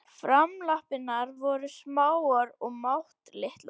Framlappirnar voru smáar og máttlitlar.